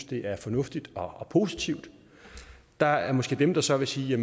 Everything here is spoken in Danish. det er fornuftigt og positivt der er måske dem der så vil sige